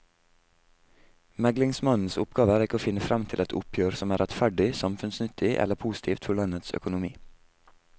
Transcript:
Meglingsmannens oppgave er ikke å finne frem til et oppgjør som er rettferdig, samfunnsnyttig eller positivt for landets økonomi.